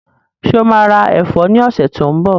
Ṣé o maa ra ẹ̀fọ́ ní ọ̀sẹ̀ tí ó ń bọ̀?